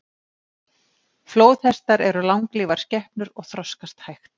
Flóðhestar eru langlífar skepnur og þroskast hægt.